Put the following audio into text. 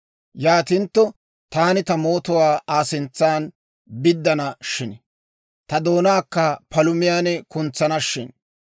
Yaatintto, taani ta mootuwaa Aa sintsan biddana shin! Ta doonaakka palumiyaan kuntsana shin!